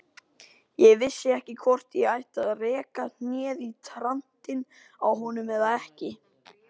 Ég vissi ekki hvort ég ætti að reka hnéð í trantinn á honum eða ekki.